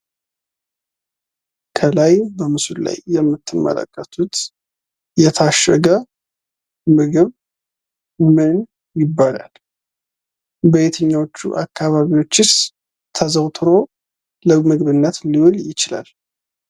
ከላይ በምስሉ ላይ የምትመለከቱት የታሸገ ምግብ ምን ይባላል? በየትኛው አካባቢዎችስ ተዘወትሮው ለምግብነት ሊውል ይችላል?